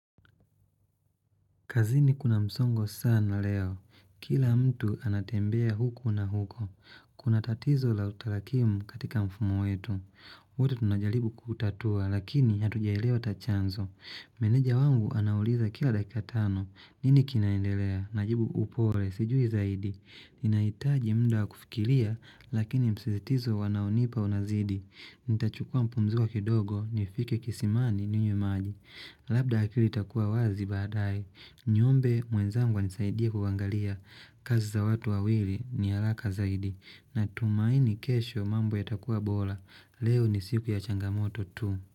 Kazini kuna msongo sana leo. Kila mtu anatembea huku na huko. Kuna tatizo la utalakimu katika mfumo wetu. Wote tunajalibu kutatua, lakini hatujaelewa ata chanzo. Meneja wangu anauliza kila dakika tano. Nini kinaendelea, najibu upole, sijui zaidi. Ninahitaji mnda wa kufikilia, lakini msizitizo wanaonipa unazidi. Nitachukua mpumziko kidogo, nifike kisimani ninywe maji. Labda akili itakua wazi baadae. Niombe mwenzangu anisaidie kuangalia. Kazi za watu wawili ni alaka zaidi. Na tumaini kesho mambo yatakuwa bola. Leo ni siku ya changamoto tu.